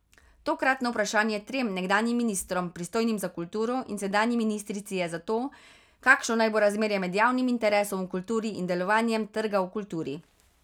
Tokratno vprašanje trem nekdanjim ministrom, pristojnim za kulturo, in sedanji ministrici je zato, kakšno naj bo razmerje med javnim interesom v kulturi in delovanjem trga v kulturi.